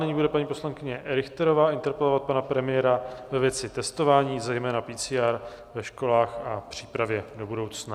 Nyní bude paní poslankyně Richterová interpelovat pana premiéra ve věci testování, zejména PCR, ve školách a přípravě do budoucna.